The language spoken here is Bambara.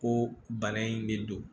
Ko bana in de don